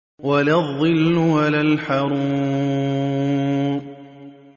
وَلَا الظِّلُّ وَلَا الْحَرُورُ